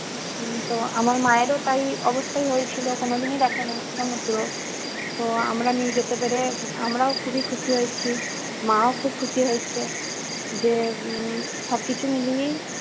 উম তো আমার মায়েরও তাই অবস্থাই হয়েছিল। কোনদিনই দেখেনি সমুদ্র। তো আমরা নিয়ে যেতে পেরে । আমরাও খুবই খুশি হয়েছি মাও খুব খুশি হয়েছে। যে উম সবকিছু মিলিয়েই